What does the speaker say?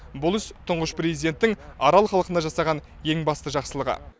бұл іс тұңғыш президенттің арал халқына жасаған ең басты жақсылығы